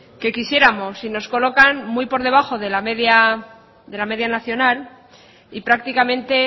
que quisiéramos y nos colocan muy por debajo de la media nacional y prácticamente